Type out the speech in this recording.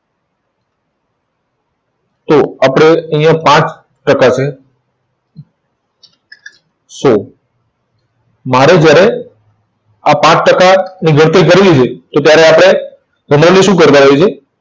તો આપણે અહીંયા પાંચ ટકા છે, સો, મારે જયારે આ પાંચ ટકાની ગણતરી કરી લીધી તો ત્યારે આપણે ને શું કરતા રહ્યા છે?